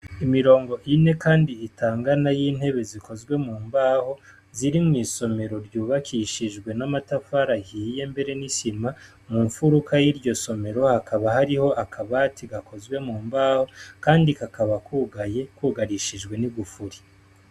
Imirongo ine kandi itangana yintebe zikozwe mu mbaho ziri mwisomero ryubakishijwe n'amatafari ahiye mbere n'isima mumfuruka yiryo somero hakaba hariho akabati gakozwe mu mbaho kandi kakaba kugaye kugarishijwe n'igufuri.